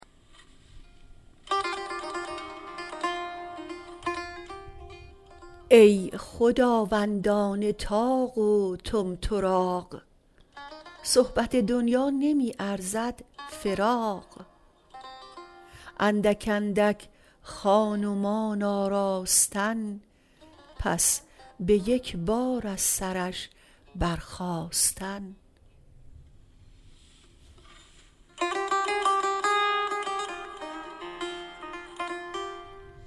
ای خداوندان طاق و طمطراق صحبت دنیا نمی ارزد فراق اندک اندک خان و مان آراستن پس به یک بار از سرش برخاستن